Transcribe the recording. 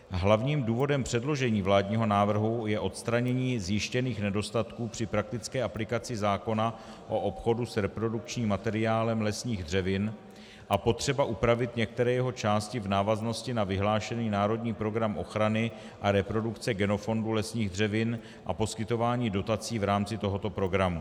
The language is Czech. Hlavním důvodem předložení vládního návrhu je odstranění zjištěných nedostatků při praktické aplikaci zákona o obchodu s reprodukčním materiálem lesních dřevin a potřeba upravit některé jeho části v návaznosti na vyhlášený Národní program ochrany a reprodukce genofondu lesních dřevin a poskytování dotací v rámci tohoto programu.